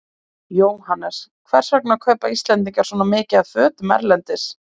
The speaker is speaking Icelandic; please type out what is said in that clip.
Jóhannes: Hvers vegna kaupa Íslendingar svona mikið af fötum erlendis?